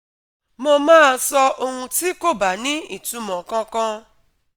mo máa sọ ohun tí kò bá ní ìtumọ̀ kankan